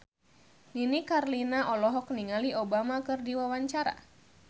Nini Carlina olohok ningali Obama keur diwawancara